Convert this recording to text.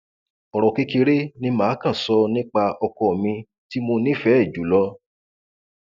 ọrọ kékeré ni mà á kàn sọ nípa ọkọ mi tí mo nífẹẹ jù lọ